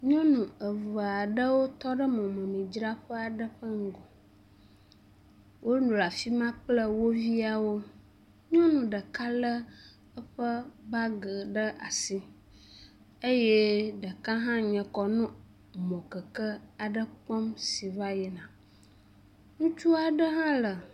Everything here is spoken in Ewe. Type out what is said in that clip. Nyɔnu eve aɖewo tɔ ɖe mɔmemidzraƒe aɖe ƒe ŋgɔ. Wonɔ afi ma kple wo viawo. Nyɔnu ɖeka le eƒe bagi ɖe asi eye ɖeka hã nye kɔ nɔ mɔkeke aɖe kpɔm si va yina. Ŋutsu aɖe hã le.